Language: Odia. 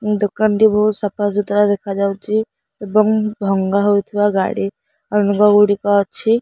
ଏହି ଦୋକାନଟି ବହୁତ ସଫା ସୁତାର ଦେଖାଯାଉଚି ଏବଂ ଭଙ୍ଗା ହେଉଥିବା ଗାଡି ଗୁଡିକ ଅଛି।